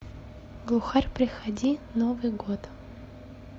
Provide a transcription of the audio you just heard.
глухарь приходи новый год